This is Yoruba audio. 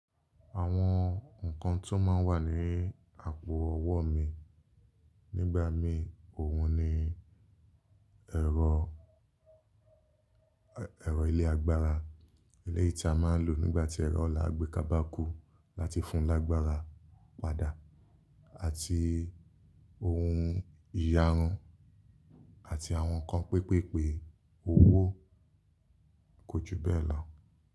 Àwọn ǹkan tí ó máa ń wà ní àpo ọwọ́ mi nígba mí òhun ni ẹ̀rọ, ẹ̀rọ ilé agbára, eléyìí tí a máa ń lò nígbà tí ẹ̀rọ lágbéká bà kú láti fún lágbára padà àti ohun ìyarun àti àwọn nǹkan pépèpe owó kò ju bẹ́ẹ̀ lọ.